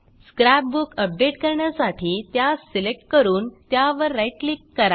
scrap book update करण्यासाठी त्यास select करून त्यावर राईट क्लिक करा